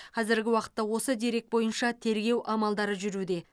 қазіргі уақытта осы дерек бойынша тергеу амалдары жүруде